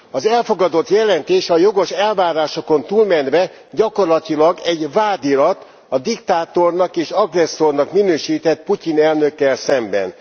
Az elfogadott jelentés a jogos elvárásokon túlmenve gyakorlatilag egy vádirat a diktátornak és agresszornak minősített Putyin elnökkel szemben.